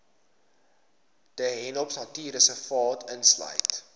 de hoopnatuurreservaat insluit